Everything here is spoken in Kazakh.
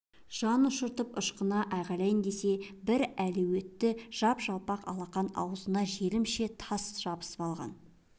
жанұшыртып ышқына айғайлайын десе бір әлеуетті жап-жалпақ алақан аузына желімше тас жабысып алған